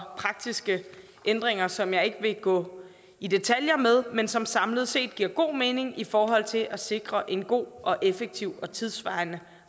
praktiske ændringer som jeg ikke vil gå i detaljer med men som samlet set giver god mening i forhold til at sikre en god og effektiv og tidssvarende